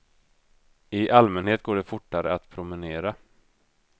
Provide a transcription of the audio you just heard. I allmänhet går det fortare att promenera.